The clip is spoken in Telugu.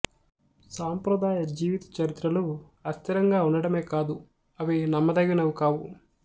సాంప్రదాయ జీవిత చరిత్రలు అస్థిరంగా ఉండటమే కాదు అవి నమ్మదగినవి కావు